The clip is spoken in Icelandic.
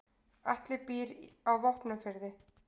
Atli býr á Vopnafirði.